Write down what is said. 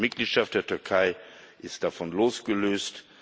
Die Mitgliedschaft der Türkei ist davon losgelöst.